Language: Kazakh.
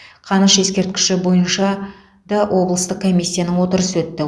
қаныш ескерткіші бойынша да облыстық комиссияның отырысы өтті